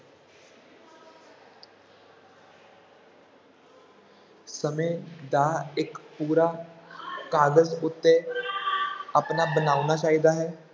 ਸਮੇਂ ਦਾ ਇੱਕ ਪੂਰਾ ਕਾਗਜ਼ ਉੱਤੇ ਆਪਣਾ ਬਣਾਉਣਾ ਚਾਹੀਦਾ ਹੈ।